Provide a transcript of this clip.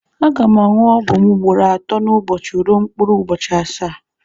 Aga m aṅụ ọgwụ m ugboro atọ n'ụbọchị ruo mkpụrụ ụbọchị asaa.